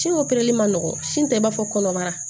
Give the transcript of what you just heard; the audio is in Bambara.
Si o man nɔgɔ sini tɛ i b'a fɔ kɔnɔbara